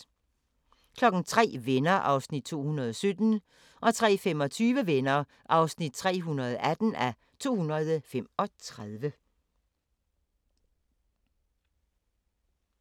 03:00: Venner (217:235) 03:25: Venner (218:235)